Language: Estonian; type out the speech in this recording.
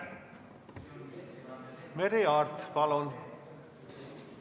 Merry Aart, palun!